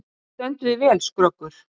Þú stendur þig vel, Skröggur!